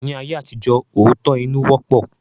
Ní ayé àtijọ́, òótọ́-inú wọ́pọ̀